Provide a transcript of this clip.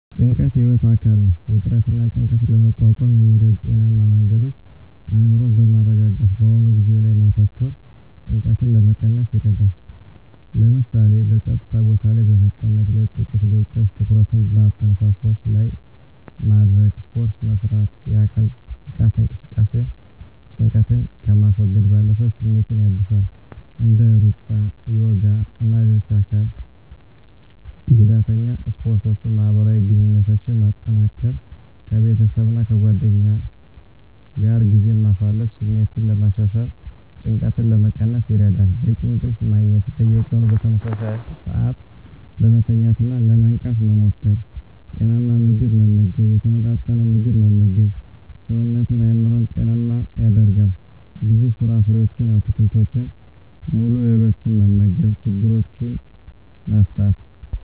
ጭንቀት የህይወት አካል ነው። ውጥረትንና ጭንቀትን ለመቋቋም የሚረዱ ጤናማ መንገዶች አእምሮን በማረጋጋት በአሁኑ ጊዜ ላይ ማተኮር ጭንቀትን ለመቀነስ ይረዳል። ለምሳሌ፣ በጸጥታ ቦታ ላይ በመቀመጥ ለጥቂት ደቂቃዎች ትኩረትን በአተነፋፈስ ላይ ማድረግ። ስፖርት መስራት: የአካል ብቃት እንቅስቃሴ ጭንቀትን ከማስወገድ ባለፈ ስሜትን ያድሳል። እንደ ሩጫ፣ ዮጋ ወይም ሌሎች የአካል ጉዳተኛ ስፖርቶችን ማህበራዊ ግንኙነትን ማጠናከር ከቤተሰብና ከጓደኞች ጋር ጊዜ ማሳለፍ ስሜትን ለማሻሻልና ጭንቀትን ለመቀነስ ይረዳል። በቂ እንቅልፍ ማግኘት። በየቀኑ በተመሳሳይ ሰዓት ለመተኛትና ለመንቃት መሞከር። ጤናማ ምግብ መመገብ የተመጣጠነ ምግብ መመገብ ሰውነትንና አእምሮን ጤናማ ያደርጋል። ብዙ ፍራፍሬዎችን፣ አትክልቶችንና ሙሉ እህሎችን መመገብ። ችግሮችን መፍታት።